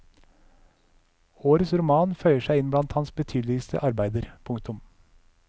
Årets roman føyer seg inn blant hans betydeligste arbeider. punktum